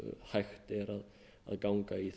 hægt er að ganga í